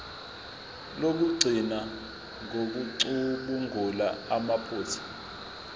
lokugcina ngokucubungula amaphutha